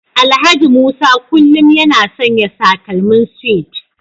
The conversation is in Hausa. Alhaji Musa kullum yana sanya takalmin suede